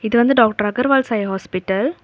இது வந்து doctor Agarwals eye hospital .